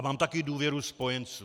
A mám taky důvěru spojenců.